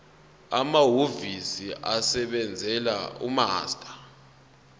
amahhovisi asebenzela umaster